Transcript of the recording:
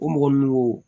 O mɔgɔ nunnu